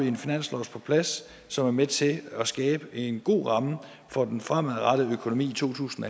en finanslov på plads som er med til at skabe en god ramme for den fremadrettede økonomi i to tusind